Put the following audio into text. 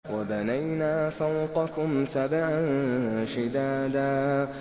وَبَنَيْنَا فَوْقَكُمْ سَبْعًا شِدَادًا